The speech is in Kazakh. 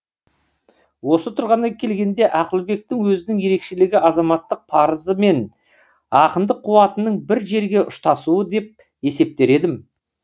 осы тұрғыдан келгенде ақылбектің өзінің ерекшелігі азаматтық парызы мен ақындық қуатының бір жерге ұштасуы деп есептер едім